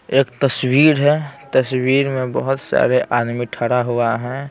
एक तस्वीर हैं तस्वीर में बहुत सारे आदमी ठड़ा हुआ हैं ।